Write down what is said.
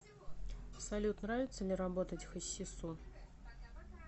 салют нравится ли работать хасису